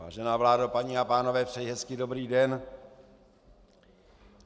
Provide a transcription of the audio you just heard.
Vážená vládo, paní a pánové, přeji hezký dobrý den.